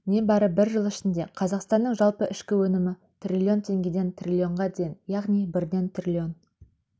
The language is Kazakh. не бары бір жыл ішінде қазақстанның жалпы ішкі өнімі триллион теңгеден триллионға дейін яғни бірден триллион